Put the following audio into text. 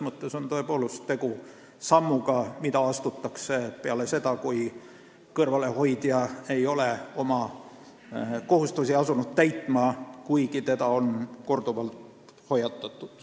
Tegu on tõepoolest sammuga, mis astutakse peale seda, kui kõrvalehoidja ei ole asunud oma kohustust täitma, kuigi teda on korduvalt hoiatatud.